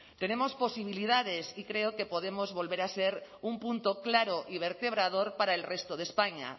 tenemos posibilidades y creo que podemos volver a ser un punto claro y vertebrador para el resto de españa